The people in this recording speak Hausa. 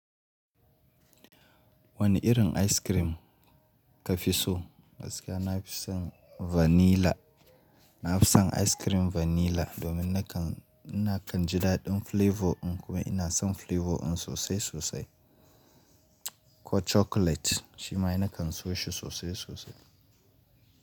Wane irin ice cream ka fi so? Gaskiya na fi son vanilla. Na fi son ice cream vanilla domin nakan, na kan ji daɗin flavour din kuma ina son flavour din sosai sosai. Ko chocolate, shi ma na kan siyo shi sosai sosai.